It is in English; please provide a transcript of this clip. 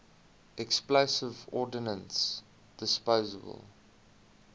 explosive ordnance disposal